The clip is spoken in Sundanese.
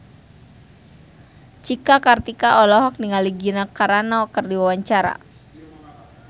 Cika Kartika olohok ningali Gina Carano keur diwawancara